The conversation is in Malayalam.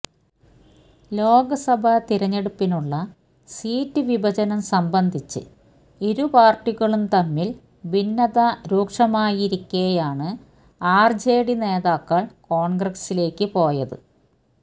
ലോക്സഭ തിരഞ്ഞെടുപ്പിനുള്ള സീറ്റ് വിഭജനം സംബന്ധിച്ച് ഇരു പാര്ട്ടികളും തമ്മില് ഭിന്നത രൂക്ഷമായിരിക്കെയാണ് ആര്ജെഡി നേതാക്കള് കോണ്ഗ്രസിലേയ്ക്ക് പോയത്